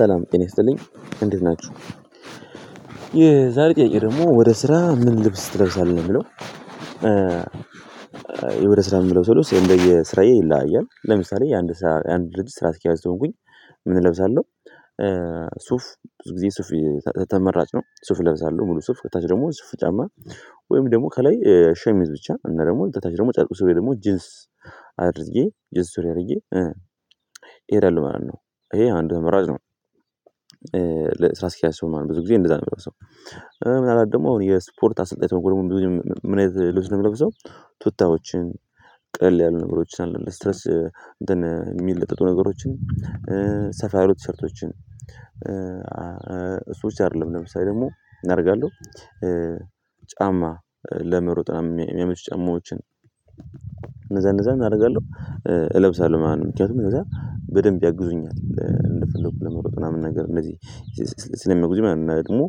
ሰላም ጤና ይስጥልኝ እንዴት ናችሁ የዛሬ ጥያቄ ደግሞ ወደ ስራ ምን ልብስ ትለብሳለህ ነው ሚለው? ወደ ስራ የምለው ስብስ የእንደየ ስራዬ ይለያያል። ለምሳሌ የአንድ ልብስ ስራ አስኪያጅ ከሆንኩኝ ምን እለብሳለሁ? ሱፍ ብዙ ጊዜ ሱፍ ተመራጭ ነው። ሱፍ ለብሳለው ሙሉ ሱፍ ከታች ደግሞ ሽፍን ጫማ ወይም ደግሞ ከላይ ሸሚዝ ብቻ እና ደግሞ ከታች ደግሞ ጨርቅ ስሪ ወይም ደግሞ ጅንስ አድርጌ ጅንስ ሱሪ አድርጌ እሄዳለሁ ማለት ነው። ይሄ አንዱ አማራጭ ነው። ለስራ አስካሂአጅ ስሆን ማለት ብዙ ጊዜ እንደዛ ነው ምለብሰው። ምናልባት ደግሞ አሁን የስፖርት አሰልጣኝ ተሆንኩ ደግሞ ብዙ ጊዜ ምን አይነት ልብስ ነው ምለብሰው? ቱታዎችን ቀል ያሉ ነገሮችን አለ ለስትረስ የሚለጠጡ ነገሮችን ሰፋ ያሉ ቲሰርቶችን እሱ ብቻ አይደለም ለምሳሌ ደግሞ ምን አደርጋለሁ? ጫማ ለመሮጥ ምናምን የሚያመቹ ጨማዎችን እነዛ እነዛን ምን አደርጋለሁ እለብሳለሁ ማለት ነው። ምክንያቱም ከዛ በደንብ ያግዙኛል እንደፈለኩ ለመሮጥ ምናምን ነገር እንደዚህ ስለሚያግዙኝ ማለት ነው። እና ደግሞ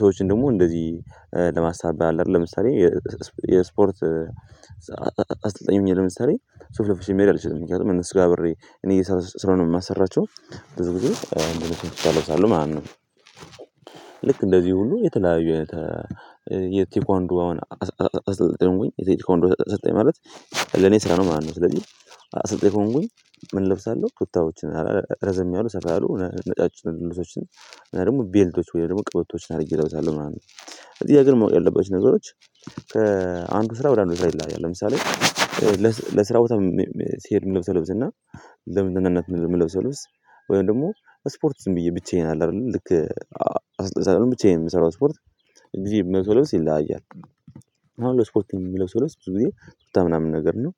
ሰዎችን ደግሞ እንደዚህ ለማስተባበር አለ አይደል ለምሳሌ የስፖርት አስተልጣኝ ሆኜ ለምሳሌ ሱፍ ለብሼ መሄድ አልችልም። ምክንያቱም እነሱጋ አብሬ እኔ እየሰራሁ ስለሆነ የማሰራቸው ብዙ ጊዜ እንደነሱ ቱታ እለብሳለሁ ማለት ነው። ልክ እንደዚህ ሁሉ የተለያዩ አይነት የቴኳንዶ አሁን አ አሰልጣኝ የቴኳንዶ አሰልጣኝ ማለት ለኔ ስራ ነው ማለት ነው። ስለዚህ አሰልጣኝ ከሆንኩኝ ምን እለብሳለሁ? ቱታዎችን ረዘም ያሉ ሰፋ ያሉ ነጫጭ ልብሶችን እና ደግሞ ቤልቶችን ወይ ደግሞ ቀበቶችን አድርጌ እለብሳለሁ ምናምን። እዚህ አገር ማወቅ ያለባችው ነገሮች ከአንዱ ስራ ወዳንዱ ስራ ይለያያል። ለምሳሌ ለስራ ቦታ ሲሄድ የምለብሰው ልብስና ለመዝናናት የምለብሰው ለብስ ወይም ደግሞ ስፖርት ዝም ብዬ ብቻዬን አለ አይደል ልክ አሰልጣኝ ሳልሆን ብቻየን የምሰራው ስፖርት ብዙ ጊዜ ምለብሰው ልብስ ይለያያል። አሁን ለስፖርቴ የምለብሰው ልብስ ብዙ ጊዜ ቱታ ምናምን ነገር ነው።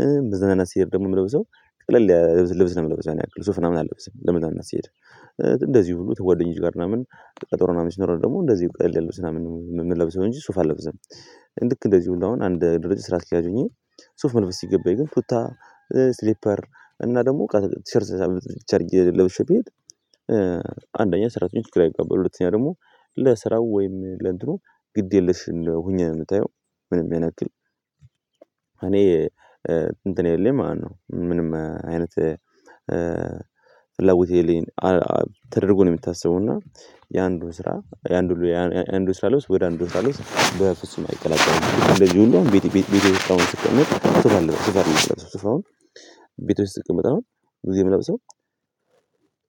ለመዝናናት ሲሄድ ደግሞ የምለብሰው ቀለል ያለ ልብስ ነው የምለብሰው ያን ያክል ሱፍ ምናምን አለብስም ለመዝናናት ስሄድ። እንደዚህ ሁሉ ከጓደኞቼ ጋር ምናምን ቀጠሮ ምናምን ሲኖረኝ ደግሞ እንደዚህ ቀለል ያለ ልብስ ምናምን ነው ምለብሰው እንጅ ሱፍ አለብስምልክ። እንደዚህ ሁሉ አንድ ድርጅት ስራ አስኪያጅ ሆኘ። ሱፍ መልበስ ሲገባኝ ግን ቱታ ስሊፐር እና ደግሞ ቲሸርት ጌ ለብሼ ቤት። አንደኛ ሰራተኞቹ ግራ ይጋባሉ ሁለተኛ ደግሞ ለስራው ወይም ለእንትኑ ግድ የለሽ እንደ ሁኘ ነው ምታየው። ምንም ያን ያክል እኔ እንትን የለኝም ማለት ነው። ምንም አይነት ፍላጎት የለሌለኝን ተደርጎ ነው ሚታሰበውና የአንዱን ስራ የአንዱን ስራ ልብስ ወደ አንዱ ስራ ልብስ በፍጹም አይቀላቀልም። እንደህ ሁሉ ቤቴ ውስጥ ምናምን ስቀመጥ። ቤቴ ውስጥ ስቀመጥ ብዙ ጊዜ ምለብሰው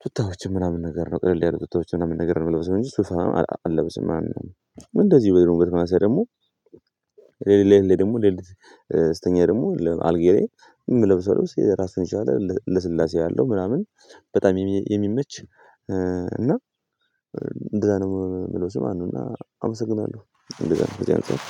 ቱታ ምናምን ነገር ነው ቅልል ያሉ ቱታዎችን ምናምን ነገር ነው የምለብሰው እንጂ ሱፍ ምናምን አለበስም ማለት ነው። እንደዚህ ቢሆን በተመሳሳይ ደግሞ ሌሊት ላይ ደግሞ ሌሊት ስተኛ ደግሞ ለ አልጋዬ ላይ እምለብሰው ልብስ ራሱን የቻለ ለስላሴ ያለው ምናምን በጣም የሚመች እና እንደዛ ነው ምለብሰው ማለት ነው። አመሰግናለሁ እንደዛ ነው ከዚህ አንፃር